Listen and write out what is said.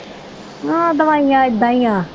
ਆਹੋ ਦਵਾਈਆਂ ਏਦਾਂ ਈਆ।